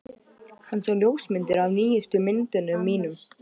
Hann sá ljósmyndir af nýjustu myndunum mínum.